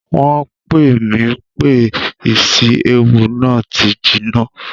Wọn pe mi pe ìsi-éwu náà ti jina